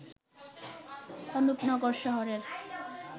অনুপ নগর শহরের